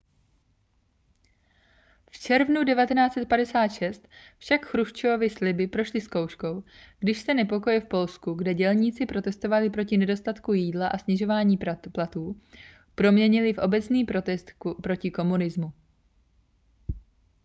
v červnu 1956 však chruščovovy sliby prošly zkouškou když se nepokoje v polsku kde dělníci protestovali proti nedostatku jídla a snižování platů proměnily v obecný protest proti komunismu